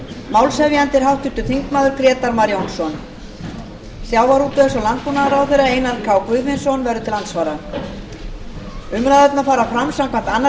málshefjandi er háttvirtur þingmaður grétar mar jónsson sjávarútvegs og landbúnaðarráðherra einar k guðfinnsson verður til andsvara umræðurnar fara fram samkvæmt annarri